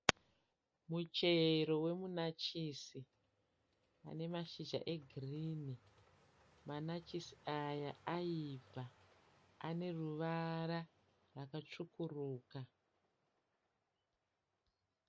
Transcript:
Muchero wemunachisi une mashizha egirini. Manachisi aya ayibva aneruvara rwakatsvukuruka.